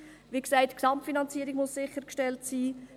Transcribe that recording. Die Gesamtfinanzierung muss sichergestellt sein.